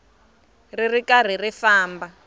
ri ri karhi ri famba